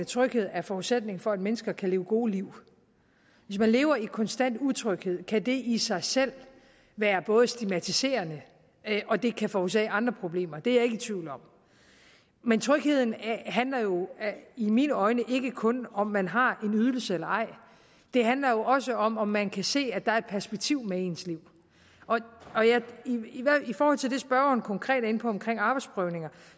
tryghed er forudsætningen for at mennesker kan leve gode liv hvis man lever i konstant utryghed kan det i sig selv være stigmatiserende og det kan forårsage andre problemer det er jeg ikke i tvivl om men trygheden handler jo i mine øjne ikke kun om om man har en ydelse eller ej det handler også om om man kan se at der er perspektiv med ens liv i forhold til det spørgeren konkret er inde på omkring arbejdsprøvninger